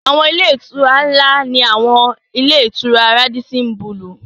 Àwọn ilé-ìtura ńlá ni àwọn ilé-ìtura Rádísín bulùù.